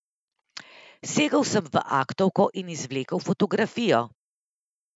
Segel sem v aktovko in izvlekel fotografijo.